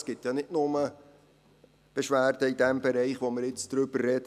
Es gibt ja nicht nur Beschwerden im Bereich, über den wir jetzt reden;